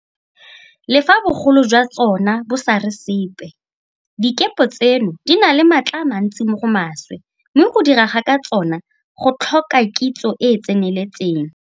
Le fa bogolo jwa tsona bo sa re sepe, dikepe tseno di na le maatla a mantsi mo go maswe mme go dira ka tsona go tlhoka kitso e e tseneletseng.